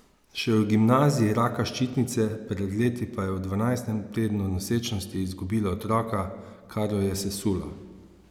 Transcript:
Še v gimnaziji raka ščitnice, pred leti pa je v dvajsetem tednu nosečnosti izgubila otroka, kar jo je sesulo.